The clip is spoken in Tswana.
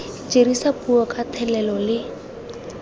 dirisa puo ka thelelo le